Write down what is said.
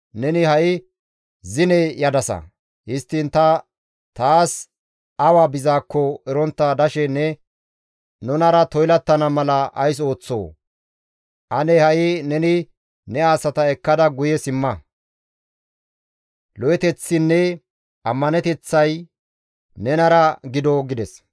Neni ha7i zine yadasa; histtiin ta taas awa bizaakko erontta dashe ne nunara toylattana mala ays ooththoo? Ane ha7i neni ne asata ekkada guye simma; lo7eteththinne ammaneteththay nenara gido» gides.